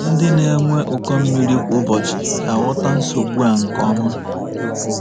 Ndị na-enwe ụkọ mmiri kwa ụbọchị ga-aghọta nsogbu a nke ọma.